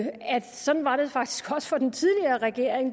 sige